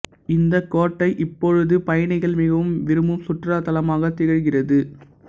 இந்தக் கோட்டை இப்பொழுது பயணிகள் மிகவும் விரும்பும் சுற்றுலாத்தலமாக திகழ்கிறது